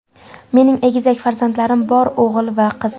Mening egizak farzandlarim bor o‘g‘il va qiz.